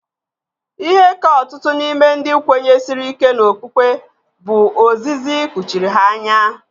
Ihe ka ọtụtụ n'ime ndị kwenyesiri ike n'okpukpe bụ ozizi kpuchiri ha anya.